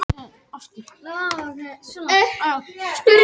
Neðan úr kjallara barst þeim daufur ómur frá píanói og fiðlu